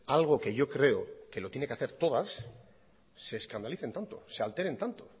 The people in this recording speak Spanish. algo que yo creo que lo tiene que hacer todas se escandalicen tanto se alteren tanto